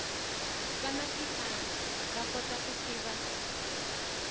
vanwa tipala vakota ku siva